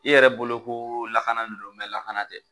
I yɛrɛ bolo ko lakana de don mɛ lakana tɛ